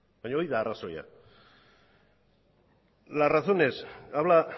baina hori da arrazoia las razones habla